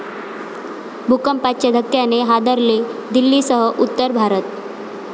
भूकंपाच्या धक्क्याने हादरले दिल्लीसह उत्तर भारत